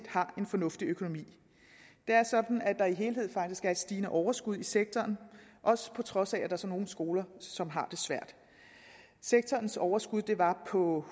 har en fornuftig økonomi det er sådan at der som helhed faktisk er et stigende overskud i sektoren også på trods af at der er nogle skoler som har det svært sektorens overskud var på